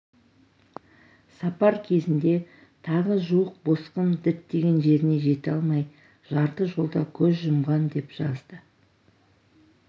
сапар кезінде тағы жуық босқын діттеген жеріне жете алмай жарты жолда көз жұмған деп жазды